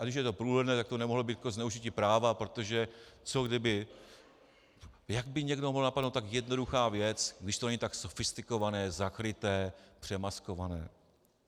A když je to průhledné, tak to nemohlo být zneužití práva, protože co kdyby, jak by někoho mohla napadnout tak jednoduchá věc, když to není tak sofistikované, zakryté, přemaskované.